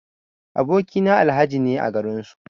Aboki na Alhaji ne a garin su.